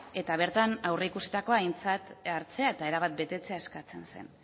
eta bertan aurreikusitakoa aintzat hartzea eta erabat betetzea eskatzen zen